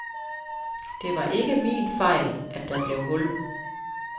Det var ikke min fejl, at der blev hul.